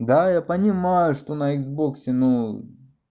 да я понимаю что на иксбоксе ну